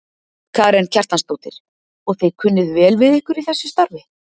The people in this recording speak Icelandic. Karen Kjartansdóttir: Og þið kunnið vel við ykkur í þessu starfi?